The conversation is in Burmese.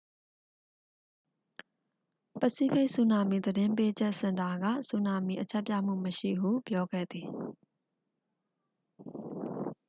ပစိဖိတ် ဆူနာမီ သတိပေးချက် စင်တာက ဆူနာမီ အချက်ပြမှု မရှိဟု ပြောခဲ့သည်